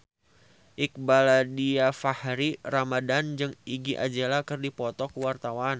Iqbaal Dhiafakhri Ramadhan jeung Iggy Azalea keur dipoto ku wartawan